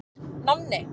Nonni